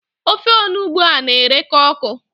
Ofe onugbu a na-ereka ọkụ.